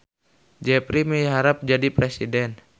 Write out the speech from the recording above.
Jepri miharep jadi presiden